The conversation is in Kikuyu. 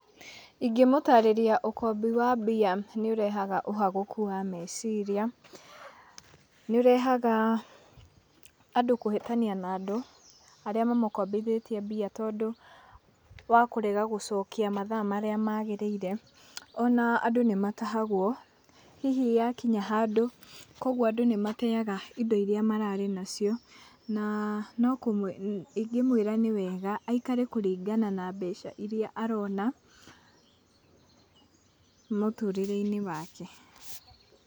Ingĩ mũtarĩria ũkombi wa mbia nĩ ũrehaga ũhagũku wa meciria nĩ ũrehaga andũ kũhĩtania na andũ arĩa mamukombithĩtie mbia tondũ wakũrega gũcokia mathaa marĩa magĩrĩire ona andũ nĩ matahagwo hihi ya kinya handũ, kogũo andũ nĩ mateaga indo irĩa mararĩ nacio na ingĩmwĩra nĩ wega aikare kũringana na mbeca irĩa arona ,mũtũrĩre-inĩ wake.